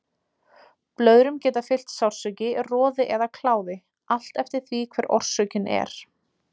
Blöðrum geta fylgt sársauki, roði eða kláði, allt eftir því hver orsökin er.